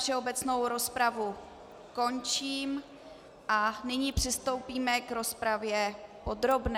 Všeobecnou rozpravu končím a nyní přistoupíme k rozpravě podrobné.